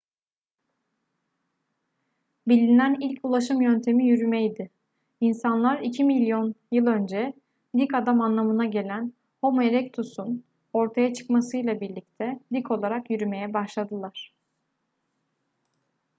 bilinen ilk ulaşım yöntemi yürümeydi. i̇nsanlar iki milyon yıl önce dik adam anlamına gelen homo erectus'un ortaya çıkmasıyla birlikte dik olarak yürümeye başladılar